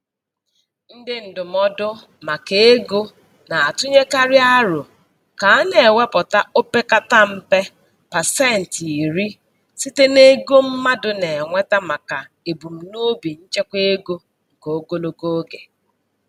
Ndị ndụmọdụ maka ego na-atụnyekarị aro ka a na-ewepụta opekata mpe pasentị iri site n'ego mmadụ na-enweta maka ebumnobi nchekwaego nke ogologo oge.